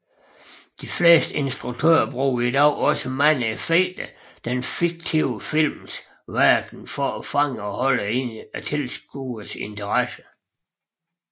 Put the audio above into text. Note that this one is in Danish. De fleste instruktører bruger i dag også mange effekter den fiktive films verden for at fange og holde tilskuernes interesse